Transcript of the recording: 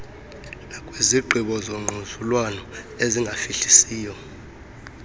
nakwizigqibo zongquzulwano ezingafihlisiyo